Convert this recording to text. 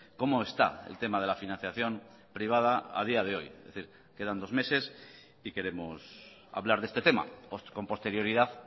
cómo está el tema de la financiación privada a día de hoy es decir quedan dos meses y queremos hablar de este tema con posterioridad